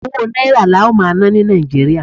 owó náírà la ó ma ná ni Naijiria